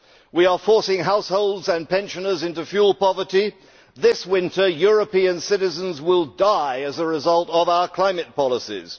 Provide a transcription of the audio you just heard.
We are forcing households and pensioners into fuel poverty this winter, European citizens will die as a result of our climate policies.